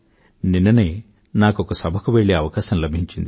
నిన్ననే నాకొక సభకు వెళ్ళే అవకాశం లభించింది